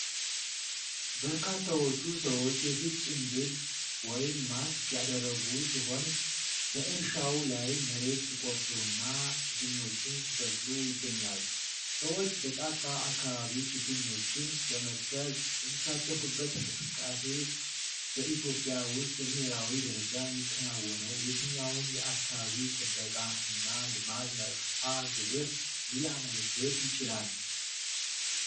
በርካታዎቹ ሰዎች የፊት ጭንብል (Mask) ያደረጉ ሲሆን፣ በእርሻው ላይ መሬት ሲቆፍሩና ችግኞችን ሲተክሉ ይገኛሉ። ሰዎች በጫካ አካባቢ ችግኞችን ለመትከል የሚሳተፉበት እንቅስቃሴ፣ በኢትዮጵያ ውስጥ በብሔራዊ ደረጃ የሚከናወነው የትኛውን የአካባቢ ጥበቃ እና ልማት መርሃ ግብር ሊያመለክት ይችላል?